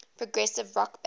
progressive rock band